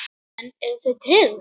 Karen: Eruð þið tryggð?